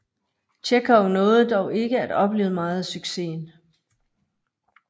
Tjekhov nåede dog ikke at opleve meget af succesen